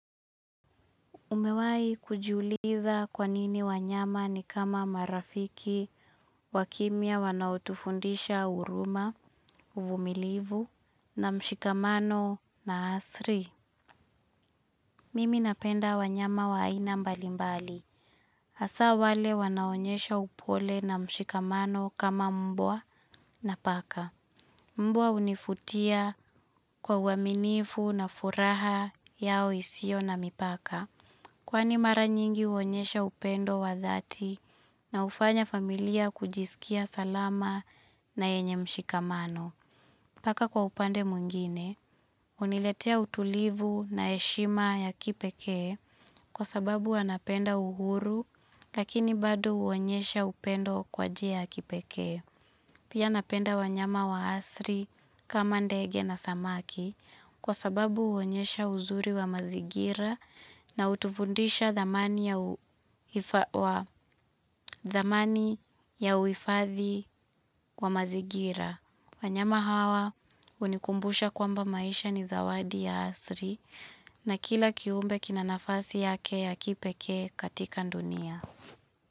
Umewahi kujiuliza kwa nini wanyama ni kama marafiki wakimya wanaotufundisha huruma, uvumilivu na mshikamano na asri. Mimi napenda wanyama wa aina mbalimbali. Hasaa wale wanaonyesha upole na mshikamano kama mbwa na paka. Mbwa hunivutia kwa uaminifu na furaha yao isio na mipaka. Kwani mara nyingi huonyesha upendo wa dhati na hufanya familia kujisikia salama na yenye mshikamano. Paka kwa upande mwingine, huniletea utulivu na heshima ya kipekee kwa sababu wanapenda uhuru lakini bado huonyesha upendo kwa njia ya kipekee. Pia napenda wanyama wa asili kama ndege na samaki kwa sababu huonyesha uzuri wa mazingira na hutufundisha thamani ya thamani ya uhifadhi wa mazigira. Wanyama hawa hunikumbusha kwamba maisha ni zawadi ya asili na kila kiumbe kina nafasi yake ya kipekee katika dunia.